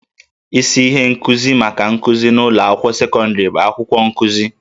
Isi ihe nkuzi maka nkuzi n'ụlọ akwụkwọ sekọndịrị bụ akwụkwọ nkuzi